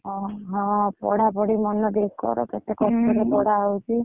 ଅଁ ହଁ, ପଢାପଢି ମନଦେଇ କର କେତେ କଷ୍ଟରେ ହୁଁ ପଢାହଉଛି?